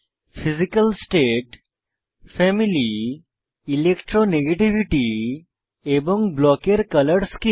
physical state family electronegativity electronegativity এবং block ব্লকের colour scheme